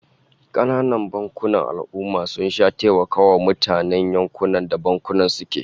Kananan bankunan al'ummah sun sha taimakawa mutanen yankunan da bankunan suke